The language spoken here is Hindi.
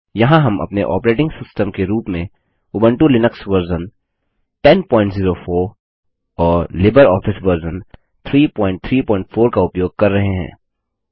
यहाँ हम अपने ऑपरेटिंग सिस्टम के रूप में उबंटु लिनक्स वर्जन 1004 और लिबरऑफिस वर्जन 334 का उपयोग कर रहे हैं